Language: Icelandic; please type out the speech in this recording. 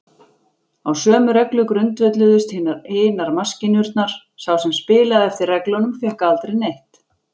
Á sömu reglu grundvölluðust hinar maskínurnar: sá sem spilaði eftir reglunum fékk aldrei neitt.